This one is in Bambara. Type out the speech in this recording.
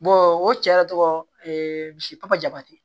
o cɛ yɛrɛ tɔgɔ misi papa jaba tɛ